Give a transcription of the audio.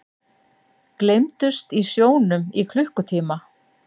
Gleymdust í sjónum í klukkutíma